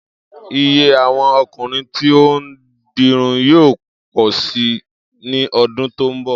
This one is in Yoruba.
Iye àwo̩n o̩kùnrin tí ó ń dirun yóò pò̩ si ní o̩dún tó ń bò̩